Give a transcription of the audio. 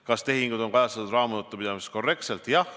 Kas tehingud on kajastatud raamatupidamises korrektselt?